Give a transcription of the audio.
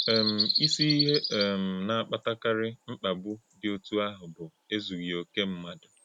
um Ìsì íhè̄ um na - àkpatàkárị́ mkpàgbù̄ dị òtụ́ àhụ̄ bụ́ èzùghị̄ òkè ḿmádụ̣.